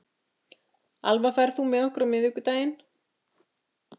Alva, ferð þú með okkur á miðvikudaginn?